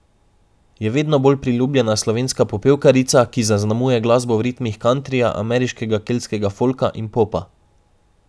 Je vedno bolj priljubljena slovenska popevkarica, ki zaznamuje glasbo v ritmih kantrija, ameriškega, keltskega folka in popa.